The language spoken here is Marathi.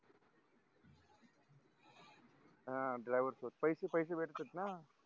ह driver च पैशे पैशे भेटतेत न